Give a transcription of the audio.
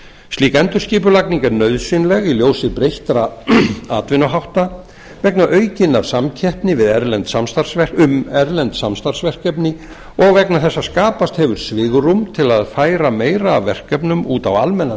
slík endurskipulagning er nauðsynleg í ljósi breyttra atvinnuhátta vegna aukinnar samkeppni um erlend samstarfsverkefni og vegna þess að skapast hefur svigrúm til að færa meira af verkefnum út á almennan